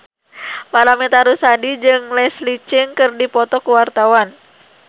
Paramitha Rusady jeung Leslie Cheung keur dipoto ku wartawan